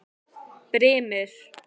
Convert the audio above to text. Brimir